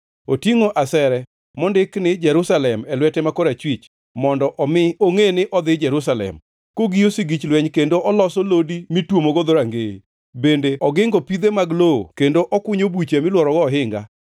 Otingʼo asere mondik ni Jerusalem e lwete ma korachwich, mondo omi ongʼe ni odhi Jerusalem, kogiyo sigich lweny kendo oloso lodi mitwomogo dhorangeye, bende ogingo pidhe mag lowo kendo okunyo buche milworogo ohinga.